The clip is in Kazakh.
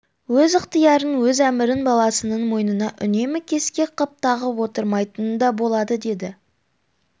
өз ықтиярын өз әмірін баласының мойнына үнемі кескек қып тағып отырмайтыны да болады деді